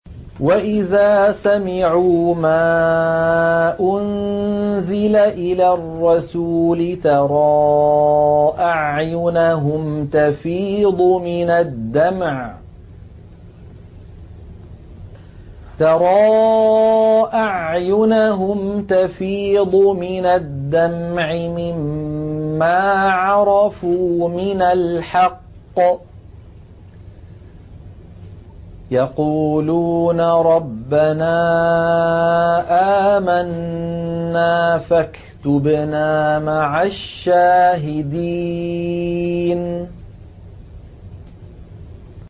وَإِذَا سَمِعُوا مَا أُنزِلَ إِلَى الرَّسُولِ تَرَىٰ أَعْيُنَهُمْ تَفِيضُ مِنَ الدَّمْعِ مِمَّا عَرَفُوا مِنَ الْحَقِّ ۖ يَقُولُونَ رَبَّنَا آمَنَّا فَاكْتُبْنَا مَعَ الشَّاهِدِينَ